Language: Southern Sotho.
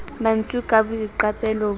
ma ntswe ka boiqapelo bo